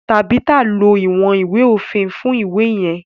Tabitha ló iwọn ìwé òfin fún iwe yen.